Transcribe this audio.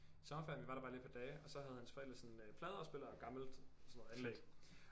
Sommerferien vi var der bare lige et par dage og så havde hans forældre sådan øh pladeafspiller og gammelt sådan noget anlæg